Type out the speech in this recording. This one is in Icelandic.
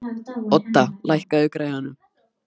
Odda, lækkaðu í græjunum.